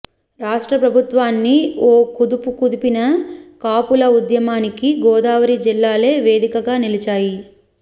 రాష్ట్ర ప్రభుత్వాన్ని ఓ కుదుపుకుదిపిన కాపుల ఉద్యమానికి గోదావరి జిల్లాలే వేదికగా నిలిచాయి